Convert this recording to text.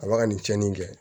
A ba ka nin tiɲɛni kɛ